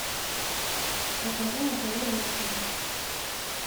покажи на тв люксери